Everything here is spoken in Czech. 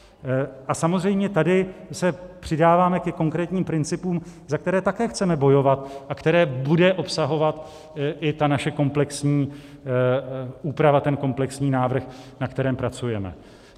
A samozřejmě tady se přidáváme ke konkrétním principům, za které také chceme bojovat a které bude obsahovat i ta naše komplexní úprava, ten komplexní návrh, na kterém pracujeme.